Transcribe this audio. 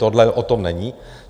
Tohle o tom není.